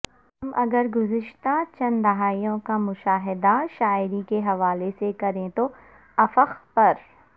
ہم اگر گزشتہ چند دہائیوں کا مشاہدہ شاعری کے حوالے سے کریں تو افق پر